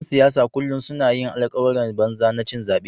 ‘Yan siyasa kullum suna yin alkawuran banza na cin zabe.